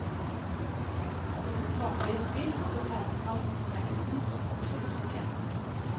Og med sitt vanlige smil betegnet han utmerkelsen som absolutt fortjent.